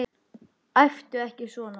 Æptu ekki svona!